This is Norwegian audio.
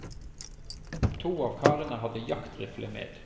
To av karene hadde jaktrifle med.